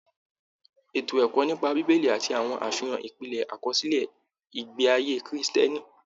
Ètò ẹ̀kọ́ nípa bíbélì àti àwọn àfihàn ìpìlẹ àkọsílẹ ìgbé ayé Kiristẹni.